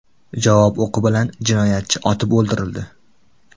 Javob o‘qi bilan jinoyatchi otib o‘ldirildi.